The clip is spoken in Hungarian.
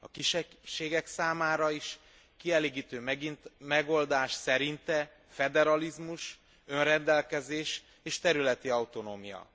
A kisebbségek számára is kielégítő megoldás szerinte a föderalizmus, az önrendelkezés és a területi autonómia.